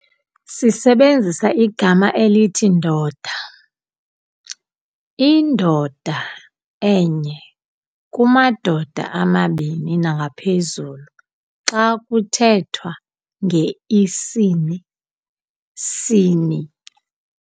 Sisebenzisa igama elithi "ndoda", i"ndoda "enye, "kumadoda"amabini nangaphezulu xa kuthethwa ngeisini - sini.